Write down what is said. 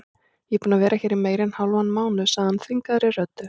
Ég er búinn að vera hér í meira en hálfan mánuð sagði hann þvingaðri röddu.